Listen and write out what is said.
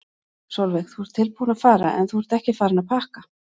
Sólveig: Þú ert tilbúinn að fara en þú ert ekki farinn að pakka?